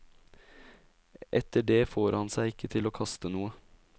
Etter det får han seg ikke til å kaste noe.